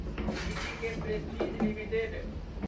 TTK Prestige limited